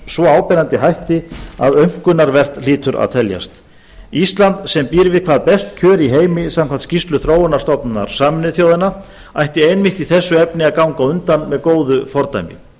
svo áberandi hætti að aumkunarvert hlýtur að teljast ísland sem býr við hvað best kjör í heimi samkvæmt skýrslu þróunarstofnunar sameinuðu þjóðanna ætti einmitt í þessu efni að ganga á undan með góðu fordæmi